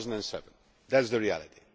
2007. That is the reality.